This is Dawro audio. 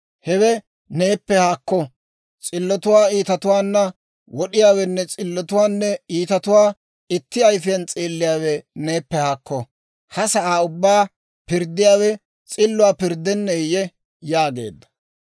Hewe neeppe haakko; s'illotuwaa iitatuwaana wod'iyaawenne s'illotuwaanne iitatuwaa itti ayfiyaan s'eelliyaawe neeppe haakko. Ha sa'aa ubbaa pirddiyaawe s'illuwaa pirddenneeyye?» yaageedda.